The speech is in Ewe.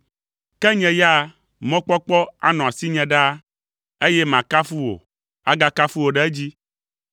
Ke nye ya la, mɔkpɔkpɔ anɔ asinye ɖaa, eye makafu wò, agakafu wò ɖe edzi.